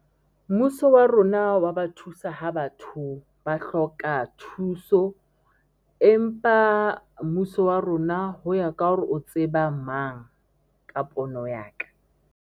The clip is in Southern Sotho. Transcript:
Mmuso wa rona wa ba thusa ha batho ba hloka thuso, empa mmuso wa rona ho ya ka hore o tseba mang ka pono ya ka.